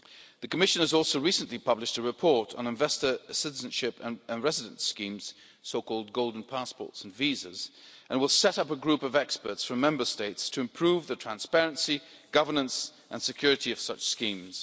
The Commission has also recently published a report on investor citizenship and resident schemes so called golden passports and visas and will set up a group of experts from Member States to improve the transparency, governance and security of such schemes.